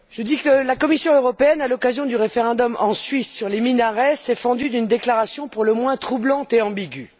Monsieur le Président, la Commission européenne, à l'occasion du référendum en Suisse sur les minarets, s'est fendue d'une déclaration pour le moins troublante et ambiguë.